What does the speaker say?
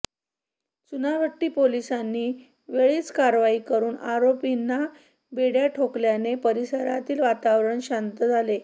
चुनाभट्टी पोलिसांनी वेळीच कारवाई करून आरोपींना बेड्या ठोकल्याने परिसरातील वातावरण शांत झाले